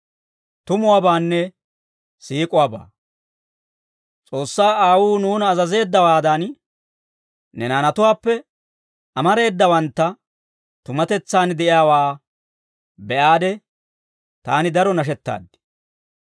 S'oossaa Aawuu nuuna azazeeddawaadan, ne naanatuwaappe amareedawanttu, tumatetsaan de'iyaawaa be'aade taani daro nashettaaddi.